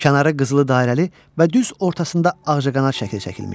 Kənarı qızılı dairəli və düz ortasında ağcaqanad şəkli çəkilmişdi.